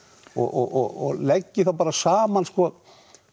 og leggi þá bara saman sko